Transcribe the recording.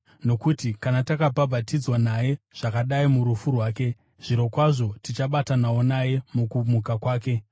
Nokuti kana takabatanidzwa naye zvakadai murufu rwake, zvirokwazvo tichabatanawo naye mukumuka kwake.